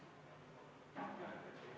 Ma ei näe proteste.